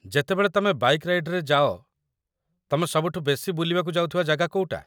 ଯେତେବେଳେ ତମେ ବାଇକ୍‌ ରାଇଡ୍‌ରେ ଯାଅ, ତମେ ସବୁଠୁ ବେଶି ବୁଲିବାକୁ ଯାଉଥିବା ଜାଗା କୋଉଟା?